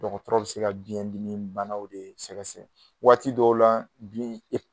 Dɔgɔtɔrɔ bi se ka biyɛndimi banaw de sɛgɛsɛgɛ waati dɔw la